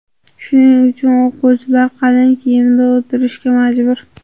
Shuning uchun o‘quvchilar qalin kiyimda o‘tirishga majbur.